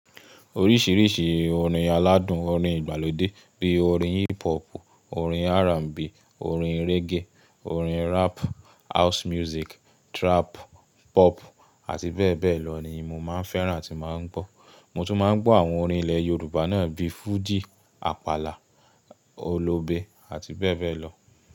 Oríṣìíríṣìí orin aládùn, orin ìgbàlódé bíi orin hip hop, orin R&B, orin reggae, orin rap, house music, trap, pop àti bẹ́ẹ̀ bẹ́ẹ̀ lọ ni mo máa ń fẹ́ràn àti máa ń gbọ́. Mo tún máa ń gbọ́ àwọn orin ilẹ̀ Yorùbá náà bíi fújì, àpàlà, olobé àti bẹ́ẹ̀ bẹ́ẹ̀ lọ.